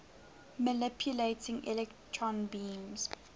manipulating electron beams